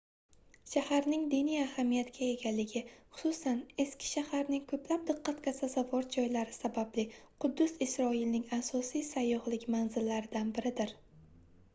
shaharning diniy ahamiyatga egaligi xususan eski shaharning koʻplab diqqatga sazovor joylari sababli quddus isroilning asosiy sayyohlik manzillaridan biridir